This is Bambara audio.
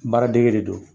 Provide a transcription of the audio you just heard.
Baara dege de don